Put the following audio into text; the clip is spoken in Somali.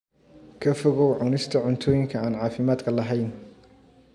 Ka fogow cunista cuntooyinka aan caafimaadka lahayn.